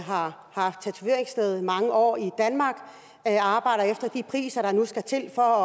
har haft tatoveringssted mange år i danmark arbejder efter de priser der nu skal til for